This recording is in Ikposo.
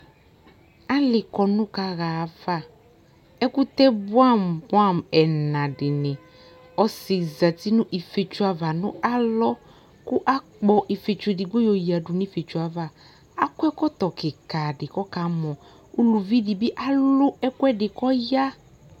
Alɩ kɔnʋ kaɣa ayava Ɛkʋtɛ bʋɛamʋ bʋɛamʋ ɛna dɩnɩ Ɔsɩ zati nʋ ifietso ava nʋ alɔ kʋ akpɔ ifietso edigbo yɔyǝdu nʋ ifietso yɛ ava Akɔ ɛkɔtɔ kɩka dɩ kʋ ɔkamɔ Uluvi dɩ bɩ alʋ ɛkʋɛdɩ kʋ ɔya